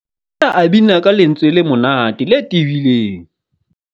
Na o bina ka lentswe le monate le tebileng.